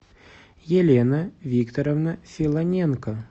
елена викторовна филоненко